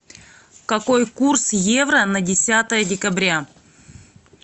какой курс евро на десятое декабря